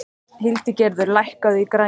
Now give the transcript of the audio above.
Hildigerður, lækkaðu í græjunum.